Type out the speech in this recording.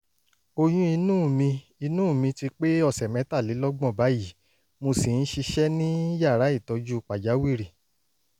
oyún inú mi inú mi ti pé ọ̀sẹ̀ mẹ́tàlélọ́gbọ̀n báyìí mo sì ń ṣiṣẹ́ ní yàrá ìtọ́jú pàjáwìrì